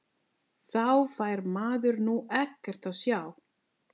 Þá fær maður nú ekkert að sjá!!